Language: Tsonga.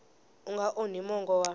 u nga onhi mongo wa